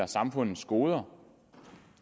samfundets goder